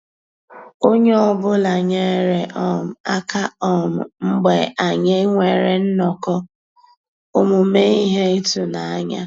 Ónyé ọ́ bụ́là nyéré um àká um mgbeé ànyị́ nwèrè nnọ́kọ́ òmùmé íhé ị́tụ́nányá.